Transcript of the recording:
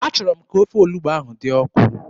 Achọrọ m ka ofe olugbu ahụ dị ọkụ.